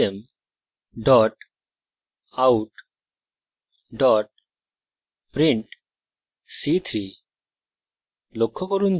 system out print c3;